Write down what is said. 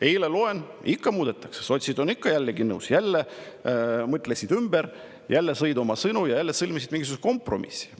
Eile loen, et ikka muudetakse, sotsid on jälle nõus, jälle mõtlesid ümber, jälle sõid oma sõnu ja jälle sõlmisid mingisuguse kompromissi.